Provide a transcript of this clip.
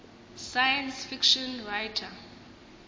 science fiction writer